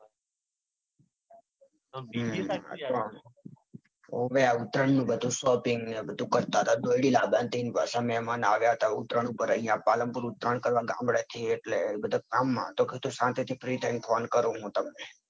ઉત્તરાયણ નું બધું shopping ને ન બધુ કરતા હતા. દોરડી લાંબાની હતી. ન પસી મેહમાન આવ્યા હતા. ઉત્તરોણ ઉપર અહીંયા પાલનપુર ઉત્તરોન કરવા ગામડે થી એટલે બધા કામ મોં હતો. એટલે કીધું શાંતિ થી free થઈન phone કરું. હું તમને